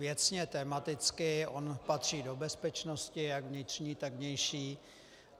Věcně, tematicky on patří do bezpečnosti jak vnitřní, tak vnější.